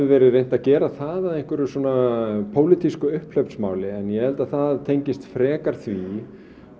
verið reynt að gera það að einhverju pólitísku upphlaupsmáli en ég held að það tengist frekar því